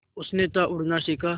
उसने था उड़ना सिखा